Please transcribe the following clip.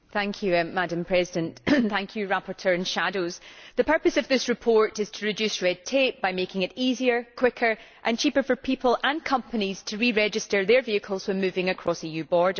Madam President, I would like to thank the rapporteur and shadows. The purpose of this report is to reduce red tape by making it easier, quicker and cheaper for people and companies to re register their vehicles when moving across EU borders.